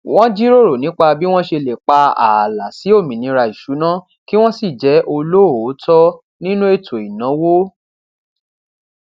wón jíròrò nípa bí wón ṣe lè pa ààlà sí òmìnira ìṣúná kí wón sì jé olóòótó nínú ètò ìnáwó